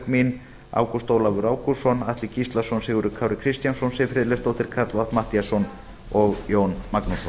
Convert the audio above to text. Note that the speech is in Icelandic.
mín ágúst ólafur ágústsson atli gíslason sigurður kári kristjánsson siv friðleifsdóttir karl fimmti matthíasson og jón magnússon